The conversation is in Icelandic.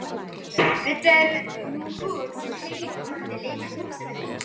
Þetta er nú hurð sem Heiðu mundi líka, hugsaði hún.